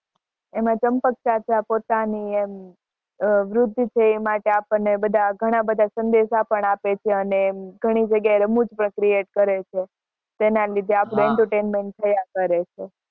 એમાં ચંપક ચાચા ઘણા બધા સંદેશા પણ આપે